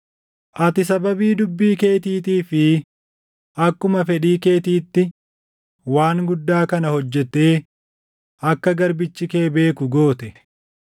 Ati sababii dubbii keetiitii fi akkuma fedhii keetiitti waan guddaa kana hojjettee akka garbichi kee beeku goote.